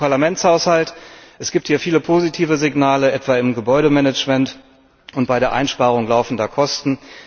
Zum Parlamentshaushalt Es gibt hier viele positive Signale, etwa im Gebäudemanagement und bei der Einsparung laufender Kosten.